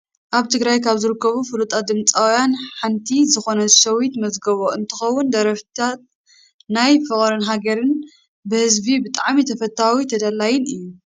ኣብ ትግራይ ካብ ዝርከቡ ፍሉጣት ድምፃዊያን ሓንቲ ዝኮነት ሸዊት መዝገቦ እንትከውን፣ ደርፍታታ ናይ ፍቅርን ሃገርን ብህዝቢ ብጣዕሚ ተፈታዊ ተደላይን እዩ።